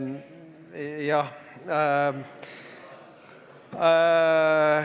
Jah!